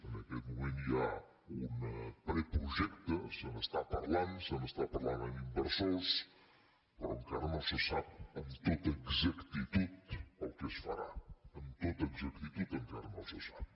en aquest moment hi ha un preprojecte se n’està par·lant se n’està parlant amb inversors però encara no se sap amb tota exactitud el que es farà amb tota exacti·tud encara no se sap